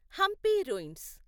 Hampi ruins